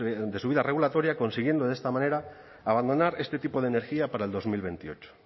de su vida regulatoria consiguiendo de esta manera abandonar este tipo de energía para el dos mil veintiocho